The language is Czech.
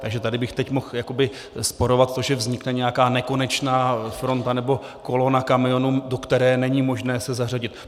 Takže tady bych teď mohl jakoby rozporovat to, že vznikne nějaká nekonečná fronta nebo kolona kamionů, do které není možné se zařadit.